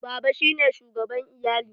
Baba shi ne shugaban iyali.